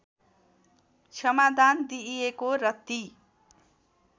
क्षमादान दिइएको र ती